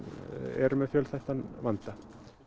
eru með fjölþættan vanda